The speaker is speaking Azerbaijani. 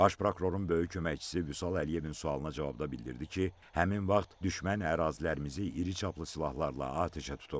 Baş prokurorun böyük köməkçisi Vüsal Əliyevin sualına cavabda bildirdi ki, həmin vaxt düşmən ərazilərimizi iri çaplı silahlarla atəşə tutub.